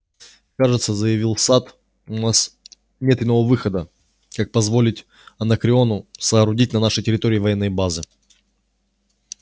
кажется заявил сатт у нас нет иного выхода как позволить анакреону соорудить на нашей территории военные базы